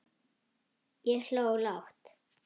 Ég hló lágt.